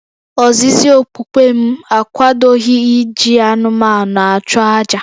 Ozizi okpukpe m akwadoghị iji anụmanụ achụ àjà